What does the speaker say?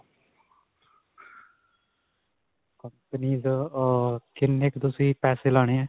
companies ਅਅ ਕਿੰਨੇ ਕ ਤੁਸੀਂ ਪੈਸੇ ਲਾਣੇ ਹੈ?